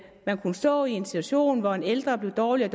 man kunne stå i en situation hvor en ældre blev dårligere